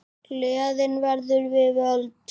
Gleðin verður við völd.